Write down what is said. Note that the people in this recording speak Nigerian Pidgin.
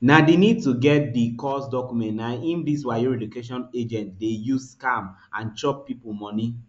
na di need to get di cos documents na im dis wayo relocation agents dey use scam and chop pipo money